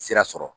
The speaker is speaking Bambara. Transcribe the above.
Sira sɔrɔ